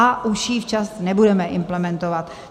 A už ji včas nebudeme implementovat.